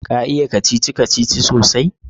Ka iya kacici-kacici sosai?